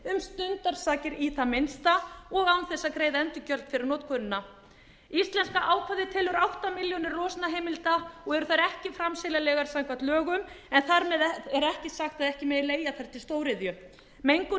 stundarsakir í það minnsta og án þess að greiða endurgjald fyrir notkunina íslenska ákvæðið telur átta milljónir losunarheimilda og eru þær ekki framseljanlegar samkvæmt lögum en þar með er ekki sagt að það megi leigja þær til stóriðju mengunarreynsla okkar